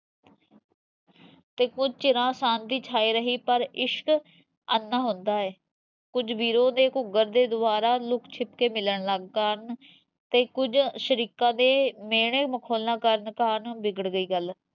ਤੇ ਕੁਜ ਚਿਰਾਂ ਸ਼ਾਂਤੀ ਛਾਈ ਰਹਿ ਪਰ ਇਸ਼ਕ, ਅੰਨਾ ਹੁਣਦਾ ਐ ਕੁਜ ਬੀਰੋਂ ਨੇ ਘੂਗਰ ਦੇ ਦਵਾਰਾਂ ਲੁਕ ਛਿਪ ਕੇ ਮਿਲਣ ਲੱਗ ਗਏ ਕਾਰਣ ਤੇ ਕੁਜ ਸ਼ਰੀਕਾ ਦੇ ਮੇਹਣੇ ਮਖੋਲਾਂ ਕਾਰਣ ਵਿਗੜ ਗਈ ਗਲ